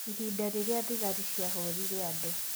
Ihinda rĩrĩa thigari cia hũrire andũ.